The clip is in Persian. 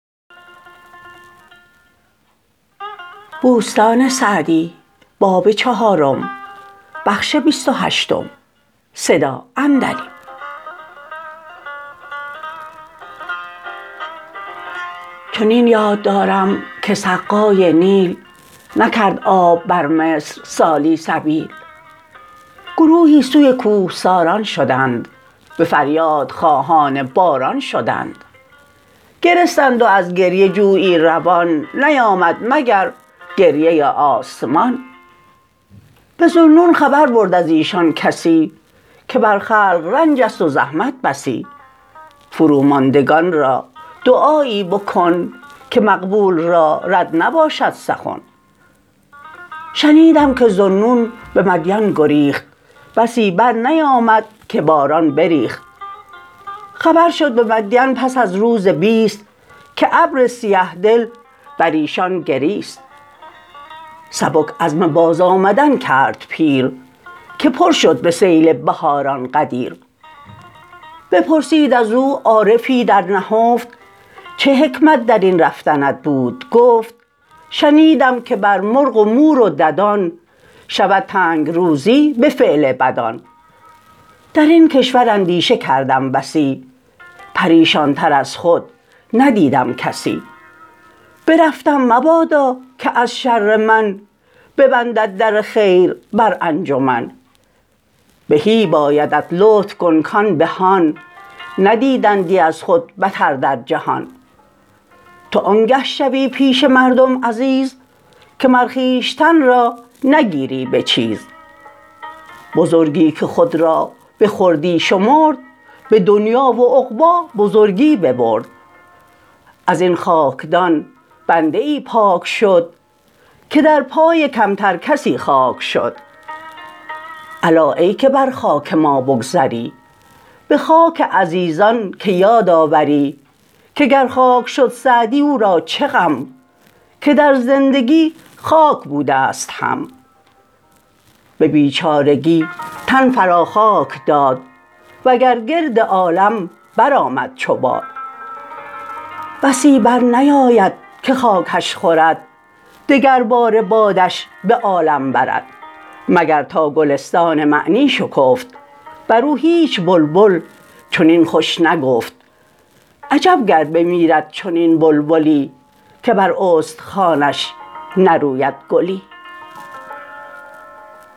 چنین یاد دارم که سقای نیل نکرد آب بر مصر سالی سبیل گروهی سوی کوهساران شدند به فریاد خواهان باران شدند گرستند و از گریه جویی روان نیامد مگر گریه آسمان به ذوالنون خبر برد از ایشان کسی که بر خلق رنج است و زحمت بسی فرو ماندگان را دعایی بکن که مقبول را رد نباشد سخن شنیدم که ذوالنون به مدین گریخت بسی بر نیامد که باران بریخت خبر شد به مدین پس از روز بیست که ابر سیه دل بر ایشان گریست سبک عزم باز آمدن کرد پیر که پر شد به سیل بهاران غدیر بپرسید از او عارفی در نهفت چه حکمت در این رفتنت بود گفت شنیدم که بر مرغ و مور و ددان شود تنگ روزی به فعل بدان در این کشور اندیشه کردم بسی پریشان تر از خود ندیدم کسی برفتم مبادا که از شر من ببندد در خیر بر انجمن بهی بایدت لطف کن کان بهان ندیدندی از خود بتر در جهان تو آنگه شوی پیش مردم عزیز که مر خویشتن را نگیری به چیز بزرگی که خود را به خردی شمرد به دنیا و عقبی بزرگی ببرد از این خاکدان بنده ای پاک شد که در پای کمتر کسی خاک شد الا ای که بر خاک ما بگذری به خاک عزیزان که یاد آوری که گر خاک شد سعدی او را چه غم که در زندگی خاک بوده ست هم به بیچارگی تن فرا خاک داد وگر گرد عالم برآمد چو باد بسی برنیاید که خاکش خورد دگر باره بادش به عالم برد مگر تا گلستان معنی شکفت بر او هیچ بلبل چنین خوش نگفت عجب گر بمیرد چنین بلبلی که بر استخوانش نروید گلی